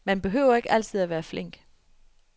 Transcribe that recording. Man behøver ikke altid at være flink.